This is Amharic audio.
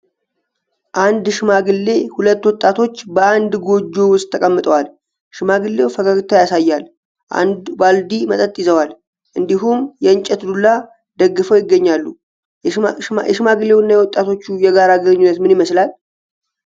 አንድ ሽማግሌና ሁለት ወጣቶች በአንድ ጎጆ ውስጥ ተቀምጠዋል። ሽማግሌው ፈገግታ ያሳያሉ፣ አንድ ባልዲ መጠጥ ይዘዋል፣ እንዲሁም የእንጨት ዱላ ደግፈው ይገኛሉ። የሽማግሌውና የወጣቶቹ የጋራ ግንኙነት ምን ይመስላል?